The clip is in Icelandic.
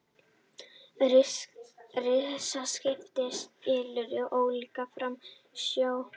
Risaskip skilur olíu frá sjó